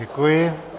Děkuji.